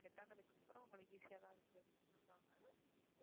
set ஆனதுக்கு அப்புறம் உங்களுக்கு easy யாதான் இருக்கு அப்படினு சொல்லுவாங்க